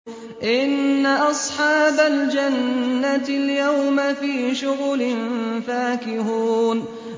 إِنَّ أَصْحَابَ الْجَنَّةِ الْيَوْمَ فِي شُغُلٍ فَاكِهُونَ